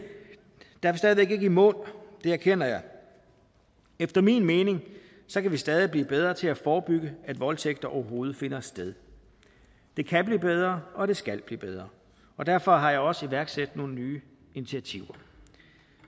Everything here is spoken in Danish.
væk ikke i mål det erkender jeg efter min mening kan vi stadig blive bedre til at forebygge at voldtægt overhovedet finder sted det kan blive bedre og det skal blive bedre og derfor har jeg også iværksat nogle nye initiativer